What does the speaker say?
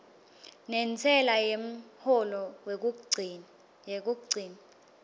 nentsela yemholo yekugcina